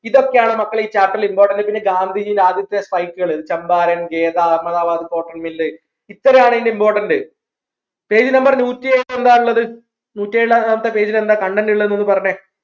ഇതൊക്കെയാണ് മക്കളെ ഈ chapter ൽ Important പിന്നെ ഗാന്ധിജിയുടെ ആദ്യത്തെ strike കൾ ചമ്പാരൻ ഖേദ അഹമ്മദാബാദ് cotton mill ഇത്രയോആണ് ഇതിൻറെ important page number നൂറ്റി ഒന്ന് എന്താ ഉള്ളത് നൂറ്റി ഏർ രണ്ടാമത്തെ page ൽ എന്താ content ഉള്ളത് എന്നൊന്ന് പറഞ്ഞേ